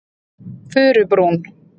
Furubrún